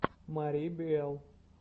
мари биэл